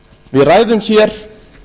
við ræðum hér